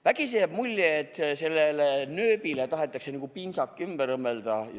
Vägisi jääb mulje, et nööbile tahetakse nagu pintsak külge õmmelda.